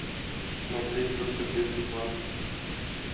смотреть джокер без рекламы